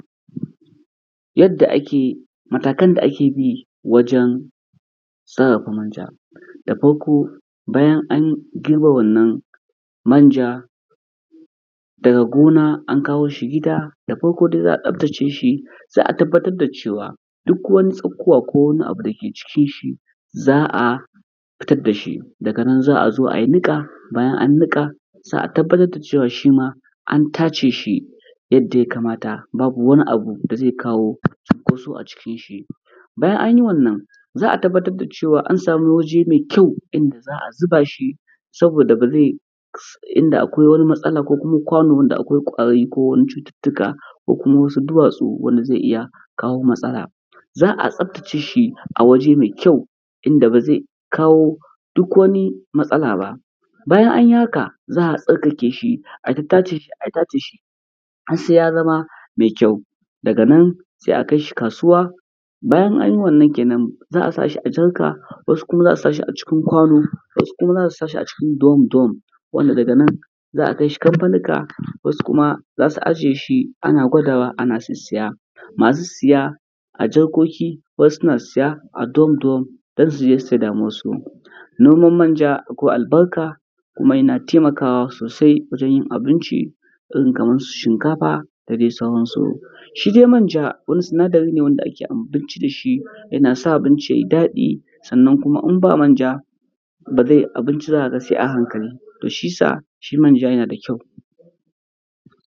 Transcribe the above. Yadda ake, matakan da ake bi wajen sarrafa manja. Da farko bayan an girbe wannan manja daga gona an kawo shi gida, da farko dai za a tsaftace shi, sai a tabbatar da cewa duk wani tsakuwa ko wani abu dake cikin shi, za a fitar da shi. Daga nan za a zo a yi niƙa, bayan an niƙa, za a tabbatar da cewa shima an tace shi yadda ya kamata, babu wani abu da zai kawo cunkoso acikin shi. Bayan anyi wannan, za a tabbatar da cewa an samu waje mai kyau, inda za a zuba shi saboda ba zai, inda akwai wani matsala ko kuma kwano wanda akwai ƙwari ko wani cututtuka ko kuma wasu duwatsu wanda zai iya kawo wasu matsala. Za a tsaftace shi a waje mai kyau, inda ba zai kawo duk wani matsala ba, bayan anyi haka za a tsarkake shi, ayi ta tace shi ayi ta tace shi har sai ya zama mai kyau, daga nan sai a kai shi kasuwa. Bayan anyi wannan kenan, za a sa shi a jarka wasu kuma a sa shi acikin kwano, wasu kuma za a sa shi acikin durom-durom, wanda daga nan za a kai shi kamfanika, wasu kuma za su ajiye shi ana gwada wa ana sissiya, masu siya a jarkoki wasu suna siya a durom-durom don su je su saida ma wasu. Noman manja akwai albarka kuma yana taimakawa sosai wajen yin abinci irin kamar su shinkafa da dai sauransu. Shi dai manja wani sinadari ne wanda ake abinci da shi, yana sa abinci ya yi daɗi, sannan kuma in ba manja ba zai, abinci za ka ga sai a hankali, to shiyasa shi manja yana da kyau.